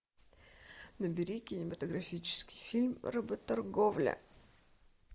набери кинематографический фильм работорговля